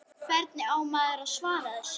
Hvernig á maður að svara þessu?